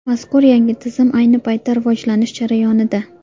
Mazkur yangi tizim ayni paytda rivojlanish jarayonida.